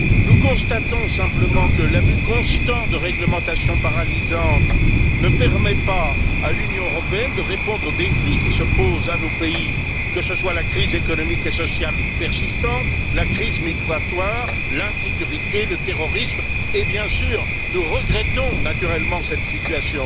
Nous constatons simplement que l'abus constant de réglementations paralysantes ne permet pas à l'Union européenne de répondre aux défis qui se posent à nos pays, que ce soit la crise économique et sociale persistante, la crise migratoire, l'insécurité ou le terrorisme et, bien entendu, nous regrettons cette situation.